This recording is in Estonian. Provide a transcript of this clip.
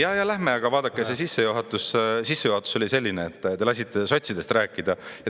Ja-ja lähme, aga vaadake, see sissejuhatus oli selline, et te lasite sotsidest rääkida.